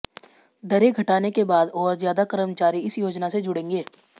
दरें घटाने के बाद और ज्यादा कर्मचारी इस योजना से जुड़ेंगे